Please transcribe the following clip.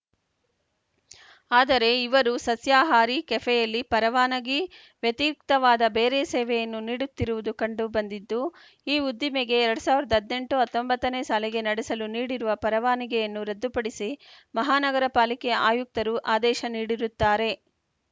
ಆದರೆ ಇವರು ಸಸ್ಯಾಹಾರಿ ಕೆಫೆಯಲ್ಲಿ ಪರವಾನಗಿ ವ್ಯತಿರಿಕ್ತವಾದ ಬೇರೆ ಸೇವೆಯನ್ನೂ ನೀಡುತ್ತಿರುವುದು ಕಂಡು ಬಂದಿದ್ದು ಈ ಉದ್ದಿಮೆಗೆ ಎರಡ್ ಸಾವಿರದ ಹದ್ನೆಂಟು ಹತ್ತೊಂಬತ್ತ ನೇ ಸಾಲಿಗೆ ನಡೆಸಲು ನೀಡಿರುವ ಪರವಾನಿಗೆಯನ್ನು ರದ್ಧುಪಡಿಸಿ ಮಹಾನಗರ ಪಾಲಿಕೆ ಆಯುಕ್ತರು ಆದೇಶ ನೀಡಿರುತ್ತಾರೆ